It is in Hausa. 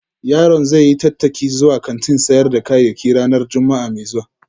Yaron zai yi tattaki zuwa kantin sayar da kayayyaki ranar Juma'a mai zuwa